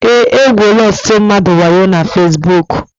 E gwuole ọtụtụ mmadụ waayo na fasibuuku.